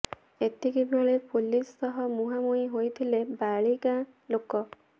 ଏତିକିବେଳେ ପୋଲିସ ସହ ମୁହାଁମୁହିଁ ହୋଇଥିଲେ ବାଳି ଗାଁ ଲୋକ